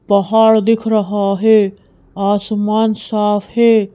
पहाड़ दिख रहा है आसमान साफ है।